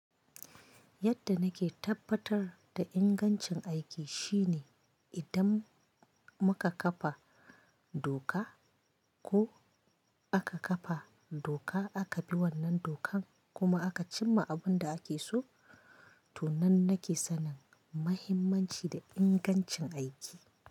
Yadda nake tabbatar da ingancin aiki shine idan muka kafa doka ko aka kafa doka, aka bi wannan dokan kuma aka cimma abin da ake so, to nan nake sanin mahimmanci da ingancin aiki.